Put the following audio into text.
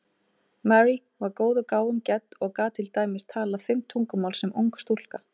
Marie var góðum gáfum gædd og gat til dæmis talað fimm tungumál sem ung stúlka.